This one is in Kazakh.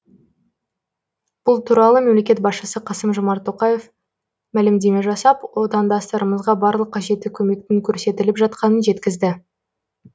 бұл туралы мемлекет басшысы қасым жомарт тоқаев мәлімдеме жасап отандастарымызға барлық қажетті көмектің көрсетіліп жатқанын жеткізді